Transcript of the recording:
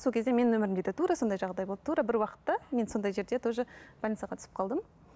сол кезде менің өмірімде де тура сондай жағдай болды тура бір уақытта мен сондай жерде тоже больницаға түсіп қалдым